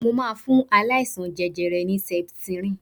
Mo máa fún aláìsaln jẹjẹrẹ ní septrin.